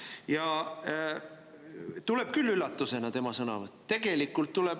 Ja tuleb küll üllatusena tema sõnavõtt.